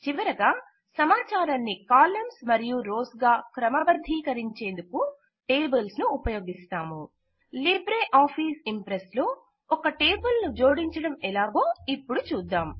చివరగా సమాచారాన్ని కాలమ్స్ మరియు రోస్ గా క్రమబద్ధీకరించేందుకు టేబుల్స్ ఉపయోగిస్తాము లిబ్రే ఆఫీస్ ఇంప్రెస్ లో ఒక టేబుల్ జోడించడమెలాగో ఇపుడు చూద్దాం